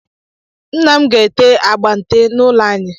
Nna m ga-ete agba nte n'ụlọ anyị.